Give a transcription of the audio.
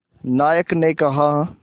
नायक ने कहा